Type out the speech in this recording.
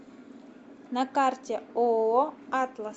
на карте ооо атлас